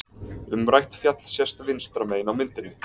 Umrætt fjall sést vinstra megin á myndinni.